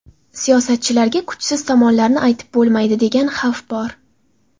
Siyosatchilarga kuchsiz tomonlarni aytib bo‘lmaydi, degan xavf bor.